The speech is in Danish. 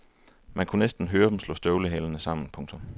Man kunne næsten høre dem slå støvlehælene sammen. punktum